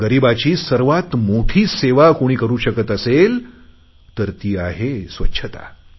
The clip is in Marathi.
गरीबांची सर्वात मोठी सेवा कोणी करु शकत असेल तर ती आहे स्वच्छता